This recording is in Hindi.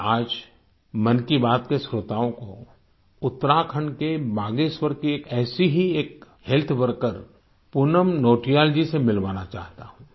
मैं आज मन की बात के श्रोताओं को उत्तराखंड के बागेश्वर के एक ऐसी ही एक हेल्थकेयर वर्कर पूनम नौटियाल जी से मिलवाना चाहता हूँ